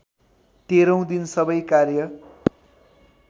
तेह्रौँ दिन सबै कार्य